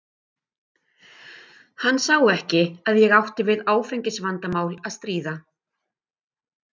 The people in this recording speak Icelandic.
Hann sá ekki að ég átti við áfengisvandamál að stríða.